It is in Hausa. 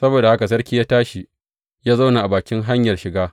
Saboda haka sarki ya tashi, ya zauna a bakin hanyar shiga.